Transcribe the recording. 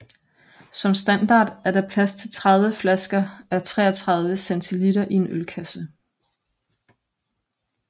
Som standard er der plads til 30 flasker a 33 cl i en ølkasse